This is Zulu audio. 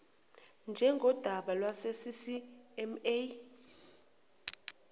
njengodaba lwase ccma